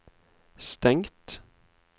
stengt